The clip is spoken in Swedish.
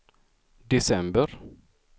december